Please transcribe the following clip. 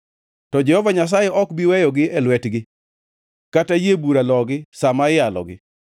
to Jehova Nyasaye ok bi weyogi e lwetgi kata yie bura logi sa ma iyalogi.